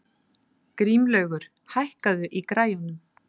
Grímlaugur, hækkaðu í græjunum.